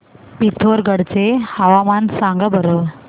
पिथोरगढ चे हवामान सांगा बरं